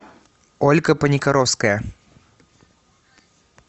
ольга паникоровская